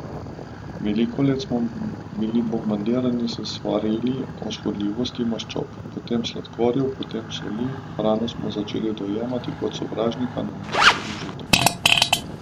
Veliko let smo bili bombardirani s svarili o škodljivosti maščob, potem sladkorjev, potem soli, hrano smo začeli dojemati kot sovražnika namesto kot užitek.